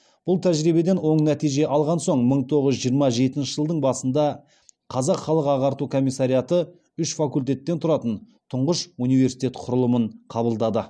бұл тәжірибеден оң нәтиже алған соң мың тоғыз жүз жиырма жетінші жылдың басында қазақ халық ағарту комиссариаты үш факультеттен тұратын тұңғыш университет құрылымын қабылдады